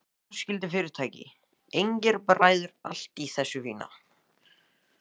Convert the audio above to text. Fjölskyldufyrirtæki, engir bræður, allt í þessu fína.